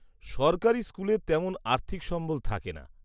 -সরকারি স্কুলে তেমন আর্থিক সম্বল থাকে না।